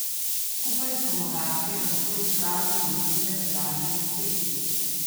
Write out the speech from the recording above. Skupaj s pomagači je nato izpraznil vitrine z dražjimi izdelki.